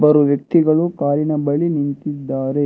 Bru ವ್ಯಕ್ತಿಗಳು ಕಾರಿನ ಬಳಿ ನಿಂತಿದ್ದಾರೆ.